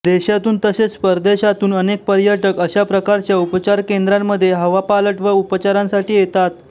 देशातून तसेच परदेशातून अनेक पर्यटक अशा प्रकारच्या उपचार केंद्रांमध्ये हवापालट व उपचारांसाठी येतात